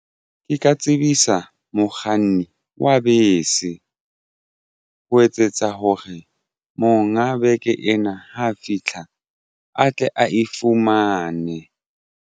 Ke ka tsebisa mokganni wa bese ho etsetsa hore monga beke ena ha fitlha a tle a e fumane.